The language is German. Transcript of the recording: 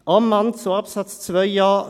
Ammann, zu Absatz 2 Buchstabe